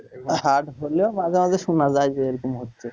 Hard হলেও মাঝে মাঝে শোনা যায় যে এরকম হচ্ছে